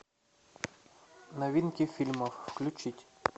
новинки фильмов включить